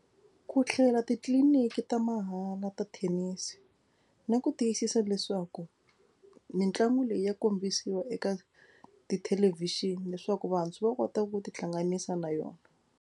Ku titliliniki ta mahala ta thenisi na ku tiyisisa leswaku mitlangu leyi ya kombisiwa eka tithelevhixini leswaku vantshwa va kota ku tihlanganisa na yona.